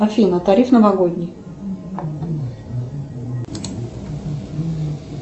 афина тариф новогодний